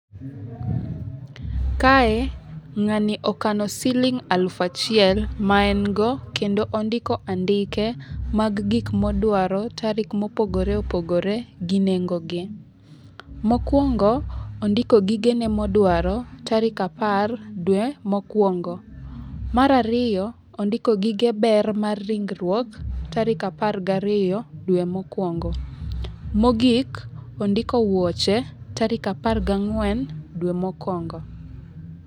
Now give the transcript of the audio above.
Kae ng'ani okano siling elufu achiel maengo. Kendo ondiko andike mag gik modwaro tarik mopogore opogore gi nengo gi. Mokwongo ondiko gigene modwaro tarik apar dwe mokwongo. Mar ariyo, ondiko gige ber mar ringruok tarik apar gi ariyo dwe mokwongo. Mogik, ondiko wuoche tarik apar gang'wen dwe mokwongo.